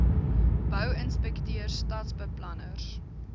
bou inspekteurs stadsbeplanners